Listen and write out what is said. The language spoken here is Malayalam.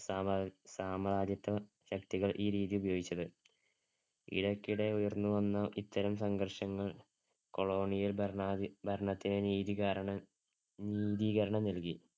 സാമ്രാ~ സാമ്രാജ്യത്വ ശക്തികള്‍ ഈ രീതി ഉപയോഗിച്ചത്. ഇടയ്ക്കിടെ ഉയർന്നുവന്ന ഇത്തരം സംഘർഷങ്ങൾ colonial ഭരണ~ഭരണത്തിനെ നീതീകാരണ~ നീതീകരണം നൽകി.